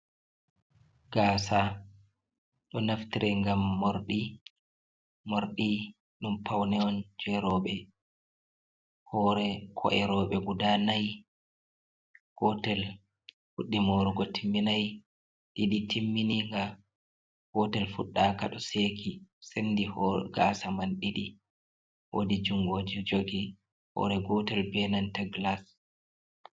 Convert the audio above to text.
Gaasa, do naftira ngam mordi ɗum paune on jeeroube. hoore ko’erobe guda nai gotel fuddimorugo timminai, didi timmini ga gotel fuɗɗaka do seeki sendi gasa man didi woodi jungle jogi hoore gotel be nanta gilas.